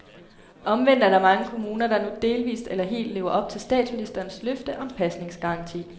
Omvendt er der mange kommuner, der nu delvist eller helt lever op til statsministerens løfte om pasningsgaranti.